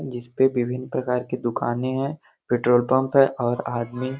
जिसपे विभिन्न प्रकार की दुकानें हैं पेट्रोल पंप है और आदमी --